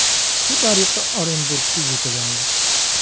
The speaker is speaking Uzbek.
Shu tariqa Orenburgga yetib oldik.